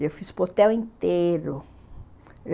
E eu fiz para o hotel inteiro.